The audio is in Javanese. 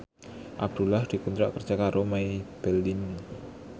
Abdullah dikontrak kerja karo Maybelline